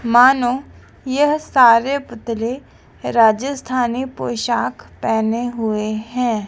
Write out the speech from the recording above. मानो यह सारे पुतले राजस्थानी पोशाक पेहने हुए हैं।